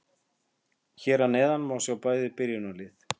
Hér að neðan má sjá bæði byrjunarlið.